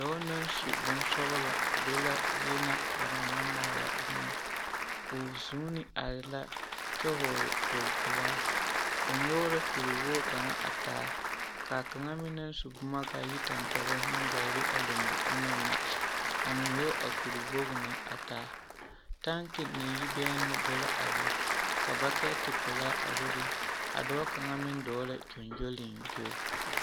Dɔɔ naŋ su bonsɔgelɔ be la zie na banaŋ maŋ maala boma, o zuuni are la kyɛ hɔɔle kpogi pelaa, o nyɔge la kuri wogi kaŋa a taa k'a kaŋa meŋ naŋ su boma k'a yi tampɛloŋ meŋ gaa be a lombo onaŋ na a meŋ nyɔge a kuri wogi na a taa, taŋki naŋ yi bɛnnoo be la a be ka bakɛte pelaa a bebe a dɔɔ kaŋa meŋ dɔɔ la gyoŋgyoliŋgyo.